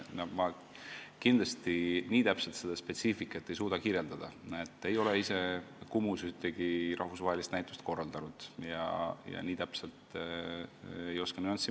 Ma ei suuda nii täpselt seda spetsiifikat kirjeldada: ei ole ise Kumus ühtegi rahvusvahelist näitust korraldanud, ei oska nii nüanssidesse minna.